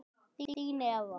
Þín, Eva.